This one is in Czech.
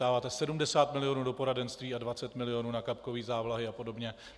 Dáváte 70 milionů do poradenství a 20 milionů na kapkové závlahy a podobně.